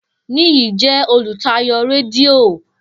Niyi jẹ olutayo redio.